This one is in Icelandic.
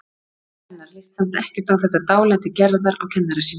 Föður hennar líst samt ekkert á þetta dálæti Gerðar á kennara sínum.